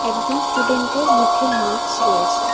একজন স্টুডেন্টের মুখে মাক্স রয়েছে।